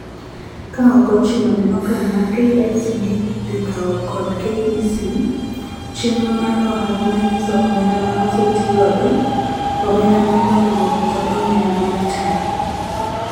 Ka ok ochuno ne okang' ma KICD dhii kawo kod KEC, chendro mar ohala manyiso omenda ma osetii godo ,omenda mar dongruok kod omenda mar taye.